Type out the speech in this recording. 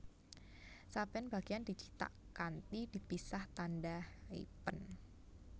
Saben bagéyan dicithak kanthi dipisah tandha hyphen